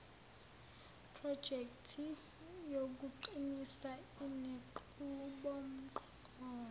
projekthi yokuqinisa inenqubomgomo